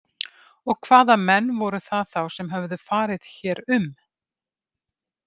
Og hvaða menn voru það þá sem höfðu farið hér um?